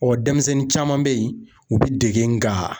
denmisɛnnin caman bɛ yen u bɛ dege nga